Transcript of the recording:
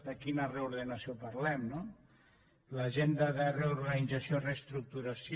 de quina reordenació parlem no l’agenda de reorganització i reestructuració